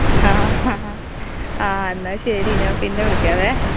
ആ എന്നാ ശെരി ഞാൻ പിന്നെ വിളിക്കാവെ.